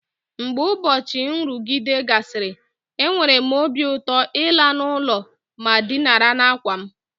Mgbe ụbọchị nrụgide gasịrị, enwere m obi ụtọ ịla n'ụlọ ma dinara n'àkwà m.